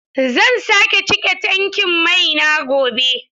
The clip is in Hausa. Zan sake cika tankin mai na gobe.